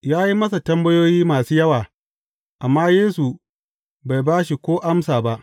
Ya yi masa tambayoyi masu yawa, amma Yesu bai ba shi ko amsa ba.